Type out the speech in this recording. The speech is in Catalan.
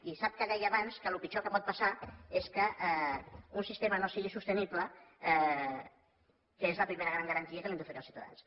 i sap que deia abans que el pitjor que pot passar és que un sistema no sigui sostenible que és la primera gran garantia que hem d’oferir als ciutadans